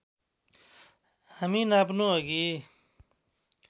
हामी नाप्नु अघि